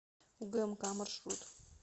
угмк маршрут